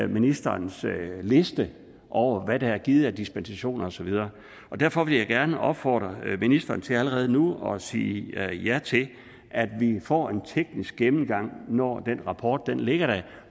ministerens liste over hvad der er givet af dispensationer og så videre derfor vil jeg gerne opfordre ministeren til allerede nu at sige ja til at vi får en teknisk gennemgang når den rapport ligger der